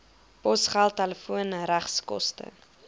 posgeld telefoon regskoste